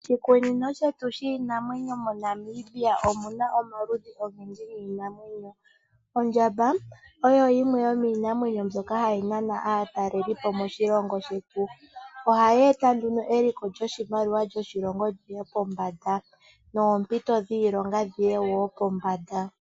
Oshikunino shiinamwenyo moNamibia omuna omaludhi ogendji giinamwenyo. Ondjamba oyo yimwe yomiinamwenyo mbyoka hayi nana aatalelipo moshilongo shetu, ohayeeta eliko lyoshimaliwa moshilongo lyiye pombanda noshowo oompito dhiilonga.